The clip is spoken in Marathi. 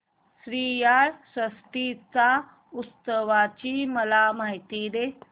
श्रीयाळ षष्टी च्या उत्सवाची मला माहिती दे